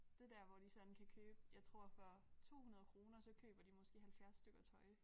Det der hvor de sådan kan købe jeg tror for 200 kroner så køber de måske 70 stykker tøj